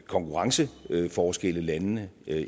konkurrenceforskelle landene